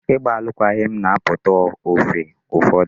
Ịgba alụkwaghịm na-apụta ofe ụfọdụ.